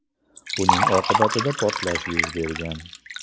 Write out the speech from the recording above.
Buning oqibatida portlash yuz bergan.